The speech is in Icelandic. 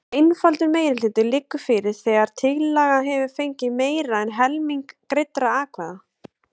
Einfaldur meirihluti liggur fyrir þegar tillaga hefur fengið meira en helming greiddra atkvæða.